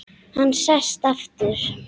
Hann sest aftur.